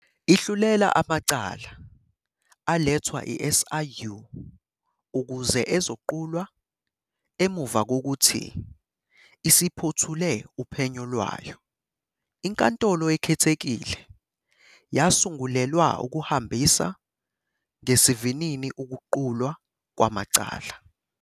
Ihlulela amacala alethwa i-SIU ukuze ezoqulwa emuva kokuthi isiphothule uphenyo lwayo. INkantolo Ekhethekile yasungulelwa ukuhambisa ngesivinini ukuqulwa kwamacala.